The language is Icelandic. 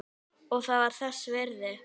Og það var þess virði.